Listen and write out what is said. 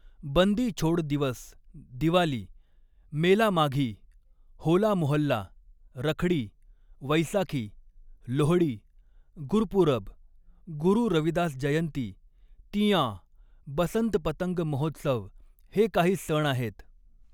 बंदी छोड़ दिवस दिवाली, मेला माघी, होला मोहल्ला, रखड़ी, वैसाखी, लोहड़ी, गुरपूरब, गुरु रविदास जयंती, तीयाँ, बसंत पतंग महोत्सव हे काही सण आहेत.